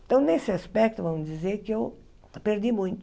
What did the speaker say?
Então, nesse aspecto, vamos dizer que eu perdi muito.